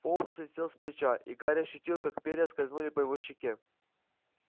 фоукс слетел с плеча и гарри ощутил как перья скользнули по его щеке